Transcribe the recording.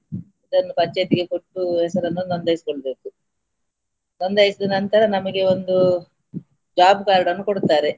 ಇದನ್ನು ಪಂಚಾಯ್ತಿಗೆ ಕೊಟ್ಟು ಹೆಸರನ್ನು ನೋಂದಾಯಿಸ್ಕೊಳ್ಬೇಕು ನೋಂದಾಯಿಸಿದ ನಂತರ ನಮಗೆ ಒಂದು job card ಅನ್ನು ಕೊಡ್ತಾರೆ.